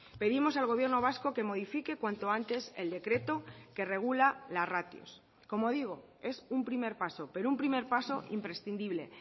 pedimos al gobierno vasco que modifique cuanto antes el decreto que regula las ratios como digo es un primer paso pero un primer paso imprescindible